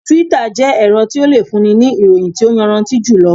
Túítà jẹ́ ẹ̀rọ tí o le fún ni ní ìròyìn tí o yanraanti julo